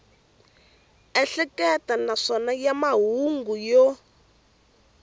ehleketa naswona ya mahungu yo